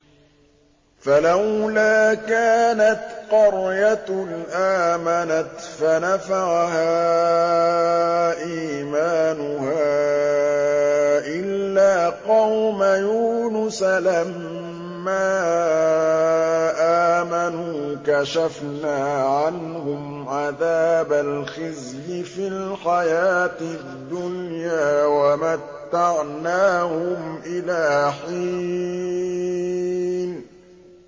فَلَوْلَا كَانَتْ قَرْيَةٌ آمَنَتْ فَنَفَعَهَا إِيمَانُهَا إِلَّا قَوْمَ يُونُسَ لَمَّا آمَنُوا كَشَفْنَا عَنْهُمْ عَذَابَ الْخِزْيِ فِي الْحَيَاةِ الدُّنْيَا وَمَتَّعْنَاهُمْ إِلَىٰ حِينٍ